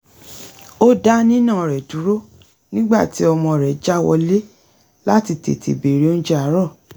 ó dá nínà rẹ̀ dúró nígbà tí ọmọ rẹ̀ já wọlé láti tètè bèrè oúnjẹ àárọ̀